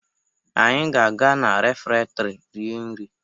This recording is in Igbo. Anyị ga-aga na refektrị rie nri.